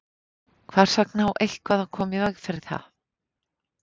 Hvers vegna á eitthvað að koma í veg fyrir það?